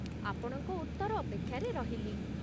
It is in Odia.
ଆପଣଙ୍କ ଉତ୍ତର ଅପେକ୍ଷାରେ ରହିଲି ।